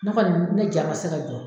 Ne kɔni ne ja ma se ka jɔ